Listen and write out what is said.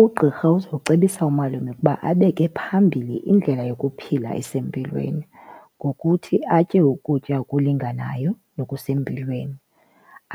Ugqirha uzowucebisa umalume ukuba abeke phambili indlela yokuphila esempilweni ngokuthi atye ukutya okulinganayo nokusempilweni,